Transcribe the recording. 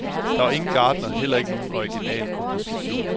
Der var ingen gartner, heller ikke nogen orginal komposition.